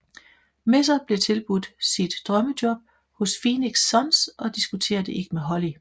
Messer bliver tilbudt sit drømmejob hos Phoenix Suns og diskuterer det ikke med Holly